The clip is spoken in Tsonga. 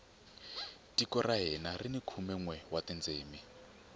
tiko ra hina rini khume nwe wa tindzimi